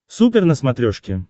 супер на смотрешке